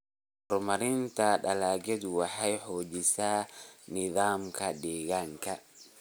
Horumarinta dalagyadu waxay xoojisaa nidaamka deegaanka.